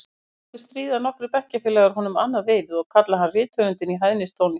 Aftur á móti stríða nokkrir bekkjarfélagar honum annað veifið og kalla hann rithöfundinn í hæðnistóni.